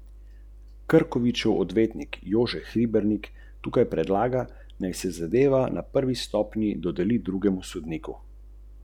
Lahko smo kritični.